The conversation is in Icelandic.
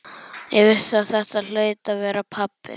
Ég vissi að þetta hlaut að vera pabbi.